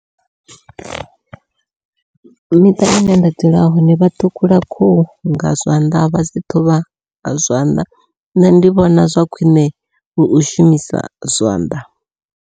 Miṱa ine nda dzula hone vha ṱhukhula khuhu nga zwanḓa vha dzi ṱhuvha nga zwanḓa, nṋe ndi vhona zwa khwiṋe ndi u shumisa zwanḓa.